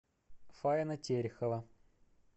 фаина терехова